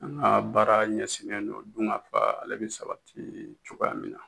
N ga baara ɲɛsin lendo dun ka fa ale be sabati cogoya min na